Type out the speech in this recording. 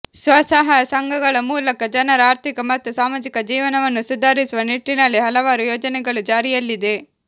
ಸ್ವಸಹಾಯ ಸಂಘಗಳ ಮೂಲಕ ಜನರ ಆರ್ಥಿಕ ಮತ್ತು ಸಾಮಾಜಿಕ ಜೀವನವನ್ನು ಸುಧಾರಿಸುವ ನಿಟ್ಟನಲ್ಲಿ ಹಲವಾರು ಯೋಜನೆಗಳು ಜಾರಿಯಲ್ಲಿದೆ